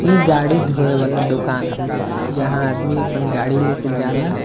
इ गाड़ी धोवे वाला दोकान हॉवे जहां आदमी अपन गाड़ी लेके जाला।